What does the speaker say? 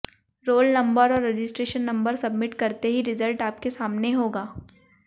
role number और registration number submit करते ही रिजल्ट आपके सामने होगा